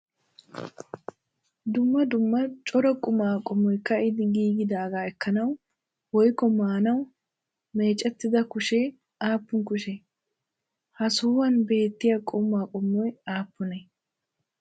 Dumma dumma cora qumaa qommoy ka'idi giigidaagaa ekkanawu woykko maanawu micettida kushee aappun kushee? Ha sohuwan beettiya qumaa qommoy aappunee?